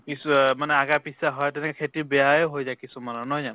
কিছু অহ মানে আগা পিছা হয় খেতি বেয়াই হৈ যায় কিছুমানৰ, নহয় জানো?